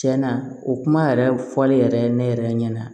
Tiɲɛna o kuma yɛrɛ fɔli yɛrɛ ne yɛrɛ ɲɛna